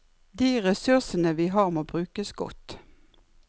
De ressursene vi har må brukes godt.